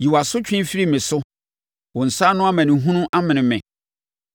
Yi wʼasotwe firi me so; wo nsa ano amanehunu amene me.